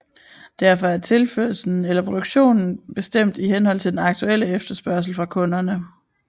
Derfor er tilførslen eller produktionen bestemt i henhold til den aktuelle efterspørgsel fra kunderne